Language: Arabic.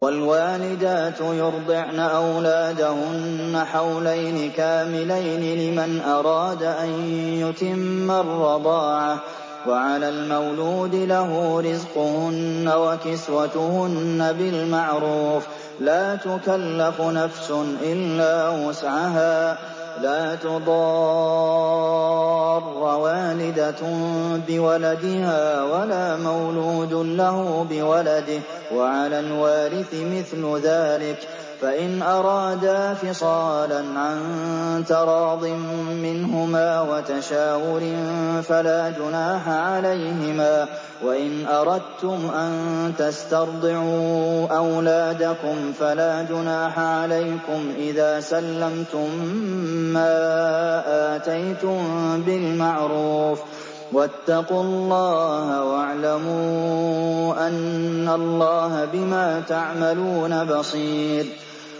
۞ وَالْوَالِدَاتُ يُرْضِعْنَ أَوْلَادَهُنَّ حَوْلَيْنِ كَامِلَيْنِ ۖ لِمَنْ أَرَادَ أَن يُتِمَّ الرَّضَاعَةَ ۚ وَعَلَى الْمَوْلُودِ لَهُ رِزْقُهُنَّ وَكِسْوَتُهُنَّ بِالْمَعْرُوفِ ۚ لَا تُكَلَّفُ نَفْسٌ إِلَّا وُسْعَهَا ۚ لَا تُضَارَّ وَالِدَةٌ بِوَلَدِهَا وَلَا مَوْلُودٌ لَّهُ بِوَلَدِهِ ۚ وَعَلَى الْوَارِثِ مِثْلُ ذَٰلِكَ ۗ فَإِنْ أَرَادَا فِصَالًا عَن تَرَاضٍ مِّنْهُمَا وَتَشَاوُرٍ فَلَا جُنَاحَ عَلَيْهِمَا ۗ وَإِنْ أَرَدتُّمْ أَن تَسْتَرْضِعُوا أَوْلَادَكُمْ فَلَا جُنَاحَ عَلَيْكُمْ إِذَا سَلَّمْتُم مَّا آتَيْتُم بِالْمَعْرُوفِ ۗ وَاتَّقُوا اللَّهَ وَاعْلَمُوا أَنَّ اللَّهَ بِمَا تَعْمَلُونَ بَصِيرٌ